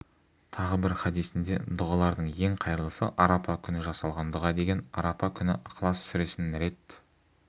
тағы бір хадисінде дұғалардың ең қайырлысы арап күні жасалған дұға деген арапа күні ықылас сүресін рет